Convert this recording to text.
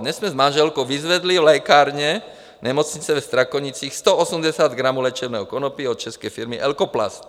Dnes jsme s manželkou vyzvedli v lékárně nemocnice ve Strakonicích 180 gramů léčebného konopí od české firmy Elkoplast.